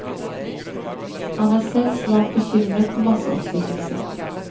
Han er selv svært bekymret for masseoppsigelser.